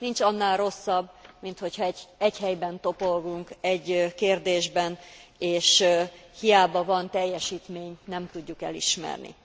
Nincs annál rosszabb, mint hogyha egyhelyben toporgunk egy kérdésben, és hiába van teljesítmény, nem tudjuk elismerni.